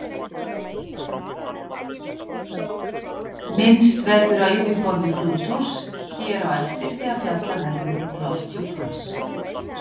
Minnst verður á yfirborð Plútós hér á eftir þegar fjallað verður um lofthjúp hans.